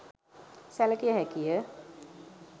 සැළකිය හැකි ය.